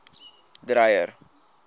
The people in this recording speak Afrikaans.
dreyer